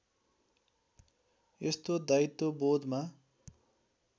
यस्तो दायित्वबोधमा